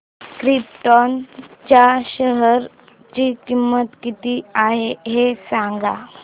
krypton च्या share ची किंमत किती आहे हे सांगा